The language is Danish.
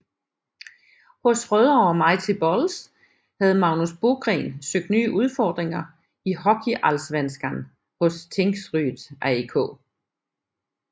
Hos Rødovre Mighty Bulls havde Magnus Bogren søgt nye udfordringer i HockeyAllsvenskan hos Tingsryd AIK